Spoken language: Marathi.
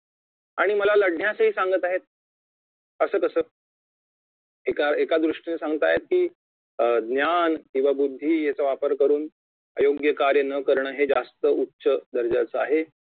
आणि मला लढण्यासही सांगत आहेत असं कसं एका एका दृष्टीने सांगतायेत की ज्ञान किंवा बुद्धी याचा वापर करून अयोग्य कार्य न करणे हे जास्त उच्च दर्जाचे आहे